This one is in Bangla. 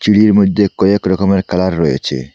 সিঁড়ির মধ্যে কয়েক রকমের কালার রয়েছে।